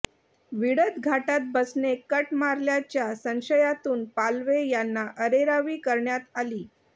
विळद घाटात बसने कट मारल्याच्या संशयातून पालवे यांना अरेरावी करण्यात आली